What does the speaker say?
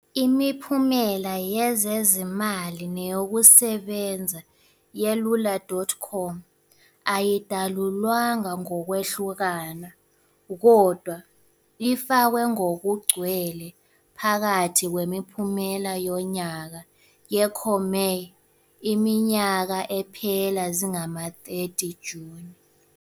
Imiphumela yezezimali neyokusebenza yelula.com ayidalulwanga ngokwehlukana, kodwa ifakwe ngokugcwele phakathi kwemiphumela yonyaka ye-Comair, iminyaka ephela zingama-30 Juni,